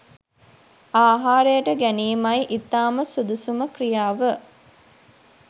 ආහාරයට ගැනීමයි ඉතාම සුදුසුම ක්‍රියාව.